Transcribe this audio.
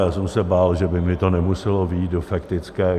Já jsem se bál, že by mi to nemuselo vyjít do faktické.